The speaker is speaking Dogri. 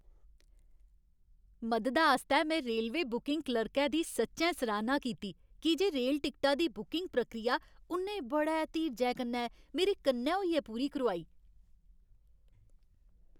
मददा आस्तै में रेलवे बुकिंग क्लर्कै दी सच्चैं सराह्ना कीती की जे रेल टिकटा दी बुकिंग प्रक्रिया उ'न्नै बड़े धीरजै कन्नै मेरे कन्नै होइयै पूरी करोआई।